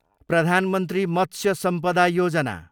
प्रधान मन्त्री मत्स्य सम्पदा योजना